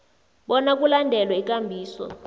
bona kulandelwe ikambiso